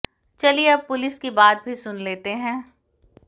चलिए अब पुलिस की बात भी सुन लेते हैं